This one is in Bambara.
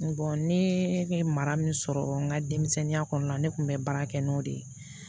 ne ye mara min sɔrɔ n ka denmisɛnninya kɔnɔna na ne tun bɛ baara kɛ n'o de ye